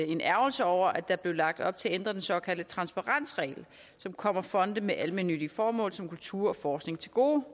en ærgrelse over at der blev lagt op til at ændre den såkaldte transparensregel som kommer fonde med almennyttige formål som kultur og forskning til gode